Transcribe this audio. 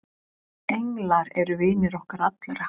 englar eru vinir okkar allra